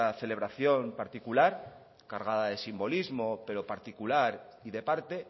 celebración particular cargada de simbolismo pero particular y de parte